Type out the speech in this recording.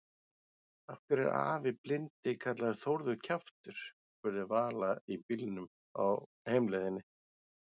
Af hverju er afi blindi kallaður Þórður kjaftur? spurði Vala í bílnum á heimleiðinni.